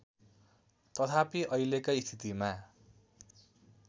तथापि अहिलेकै स्थितिमा